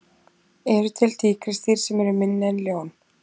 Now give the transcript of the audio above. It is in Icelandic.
Eru til tígrisdýr sem eru minni en ljón?